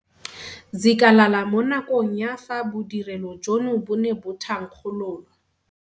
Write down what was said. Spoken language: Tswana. Zikalala mo nakong ya fa bodirelo jono bo ne bo thankgololwa.